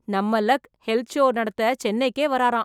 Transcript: நம்ம luck health show நடத்த சென்னைக்கே வரராம்.